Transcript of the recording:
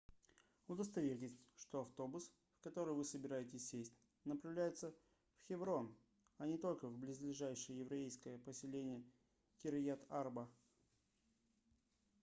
удостоверьтесь что автобус в который вы собираетесь сесть направляется в хеврон а не только в близлежащее еврейское поселение кирьят-арба